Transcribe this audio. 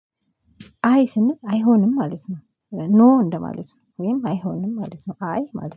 አይ ስንል አይሆንም ማለት ነው ኖ እንደማለት ነው ወይም አይሆንም ማለት ነው አይ ማለት